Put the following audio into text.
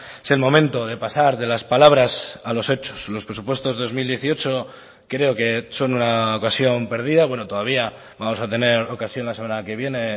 es el momento de pasar de las palabras a los hechos los presupuestos dos mil dieciocho creo que son una ocasión perdida bueno todavía vamos a tener ocasión la semana que viene